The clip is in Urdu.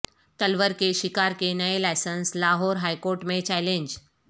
تلور کے شکار کے نئے لائسنس لاہور ہائیکورٹ میں چیلنج